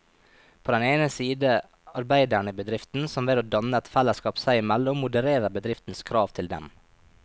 På den ene side arbeiderne i bedriften, som ved å danne et fellesskap seg imellom modererer bedriftens krav til dem.